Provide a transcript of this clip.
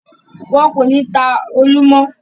Wọn kò ní ta “olú” mọ́.